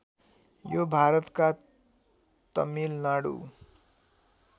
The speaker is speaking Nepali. यो भारतका तमिलनाडु